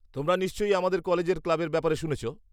-তোমরা নিশ্চয়ই আমাদের কলেজ ক্লাবের ব্যাপারে শুনেছ?